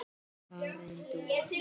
Karen Dúa.